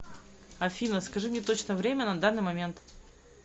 афина скажи мне точное время на данный момент